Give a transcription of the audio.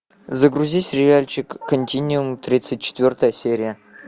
загрузи сериальчик континиум тридцать четвертая серия